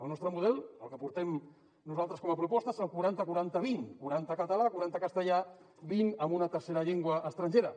el nostre model el que portem nosaltres com a proposta és el quaranta quaranta vint quaranta català quaranta castellà i vint en una tercera llengua estrangera